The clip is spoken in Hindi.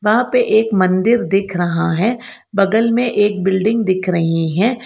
वहां पे एक मंदिर दिख रहा है बगल में एक बिल्डिंग दिख रही हैं।